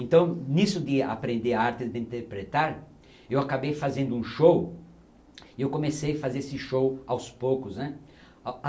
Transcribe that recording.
Então, nisso de aprender a arte de interpretar, eu acabei fazendo um show e eu comecei a fazer esse show aos poucos, né?